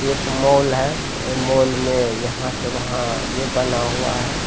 एक मॉल है मॉल में यहाँ से वहाँ ये बना हुआ है।